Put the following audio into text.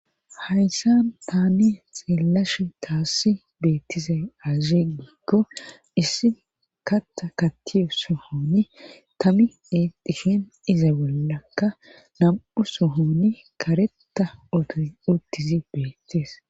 Hayssan taani xillash taassi beettise aaze giikko issi katta kattiyo sohoni tami iidishin iza bollakka nam7u suhoni kareta uttisi beettees.